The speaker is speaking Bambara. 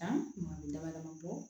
Danni damadama bɔ